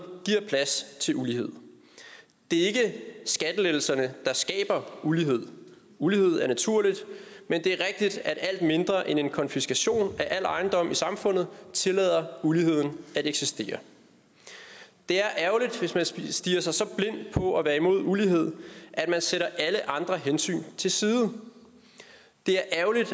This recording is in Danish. giver plads til ulighed det er ikke skattelettelserne der skaber ulighed ulighed er naturligt men det er rigtigt at alt mindre end en konfiskation af al ejendom i samfundet tillader uligheden at eksistere det er ærgerligt hvis man stirrer sig så blind på at være imod ulighed at man sætter alle andre hensyn til side det er ærgerligt